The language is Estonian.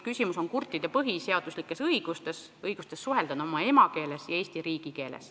Küsimus on kurtide inimeste põhiseaduslikes õigustes, õiguses suhelda oma emakeeles, mis on ka Eesti riigikeel.